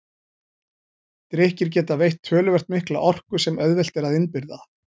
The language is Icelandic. Drykkir geta veitt töluvert mikla orku sem auðvelt er að innbyrða.